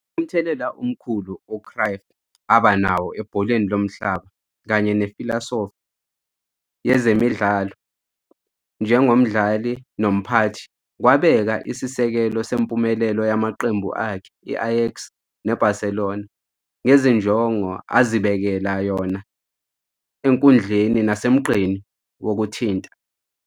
Umthelela omkhulu u-Cruyff aba nawo ebholeni lomhlaba kanye nefilosofi yezemidlalo njengomdlali nomphathi kwabeka isisekelo sempumelelo yamaqembu akhe i-Ajax ne-Barcelona, ​​​​ngezinjongo azibekela yona enkundleni nasemgqeni wokuthinta.